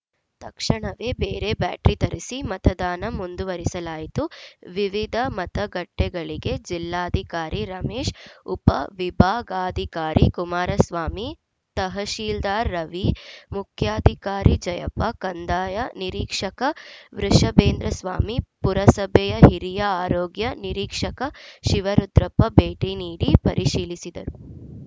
ತಕ್ಷಣವೇ ಬೇರೆ ಬ್ಯಾಟರಿ ತರಿಸಿ ಮತದಾನ ಮುಂದುವರಿಸಲಾಯಿತು ವಿವಿಧ ಮತಗಟ್ಟೆಗಳಿಗೆ ಜಿಲ್ಲಾಧಿಕಾರಿ ರಮೇಶ್‌ ಉಪ ವಿಭಾಗಾಧಿಕಾರಿ ಕುಮಾರಸ್ವಾಮಿ ತಹಶೀಲ್ದಾರ್‌ ರವಿ ಮುಖ್ಯಾಧಿಕಾರಿ ಜಯಪ್ಪ ಕಂದಾಯ ನಿರೀಕ್ಷಕ ವೃಷಭೇಂದ್ರಸ್ವಾಮಿ ಪುರಸಭೆಯ ಹಿರಿಯ ಆರೋಗ್ಯ ನಿರೀಕ್ಷಕ ಶಿವರುದ್ರಪ್ಪ ಭೇಟಿ ನೀಡಿ ಪರಿಶೀಲಿಸಿದರು